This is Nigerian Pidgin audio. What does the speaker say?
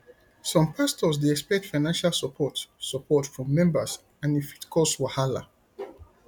some pastors dey expect financial support support from members and e fit cause wahala